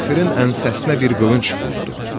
Kafirin ənsəsinə bir qılınc vurdu.